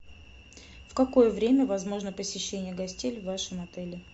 в какое время возможно посещение гостей в вашем отеле